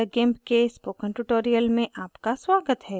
meet the gimp के spoken tutorial में आपका स्वागत है